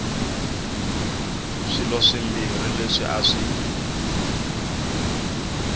swilo swimbirhi leswi a swi